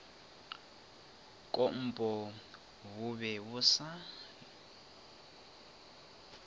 kompo bo be bo sa